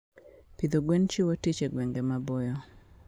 Pidho gwen chiwo tich e gwenge maboyo.